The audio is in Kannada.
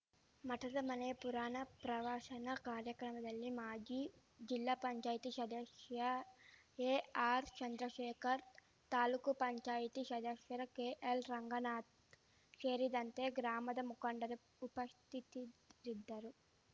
ಮಠದ ಮನೆಯ ಪುರಾಣ ಪ್ರವಚನ ಕಾರ್ಯಕ್ರಮದಲ್ಲಿ ಮಾಜಿ ಜಿಲ್ಲಾ ಪಂಚಾಯತಿ ಶದಶ್ಯ ಎಆರ್‌ ಚಂದ್ರಶೇಖರ್‌ ತಾಲೂಕ್ ಪಂಚಾಯತಿ ಶದಸ್ಯ ಕೆಎಲ್‌ ರಂಗನಾಥ್‌ ಶೇರಿದಂತೆ ಗ್ರಾಮದ ಮುಖಂಡರು ಉಪಶ್ತತಿರಿದ್ದರು